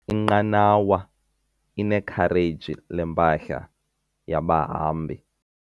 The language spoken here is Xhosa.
Inqanawa inekhareji lempahla yabahambi.